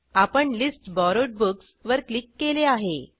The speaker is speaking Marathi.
आपण लिस्ट बोरोवेड बुक्स वर क्लिक केले आहे